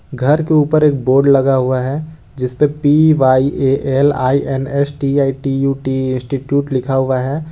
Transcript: घर के ऊपर एक बोर्ड लगा हुआ है जिस पे P Y A L I N S T I U T E institute लिखा हुआ है।